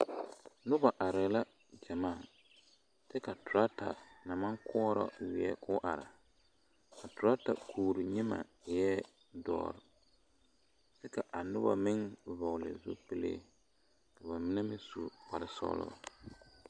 Noba arɛɛ la gyamaa kyɛ ka torata na maŋ koɔra weɛ ka o are a torata kuori nyemɛ eɛ doɔre kyɛ ka a noba meŋ vɔgle zupili ka ba mine meŋ su kpare sɔglɔ.